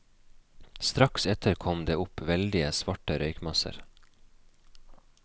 Strakt etter kom det opp veldige, svarte røykmasser.